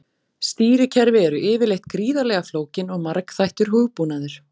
Stýrikerfi eru yfirleitt gríðarlega flókin og margþættur hugbúnaður.